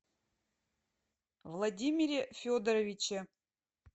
владимире федоровиче